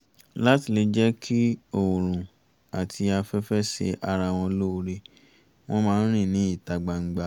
láti lè jẹ́ kí oòrùn àti afẹ́fẹ́ ṣe ara wọn lóore wọ́n máa ń rìn ní ìta gbangba